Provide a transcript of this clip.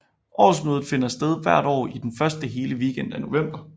Årsmødet finder sted hvert år i den første hele weekend af november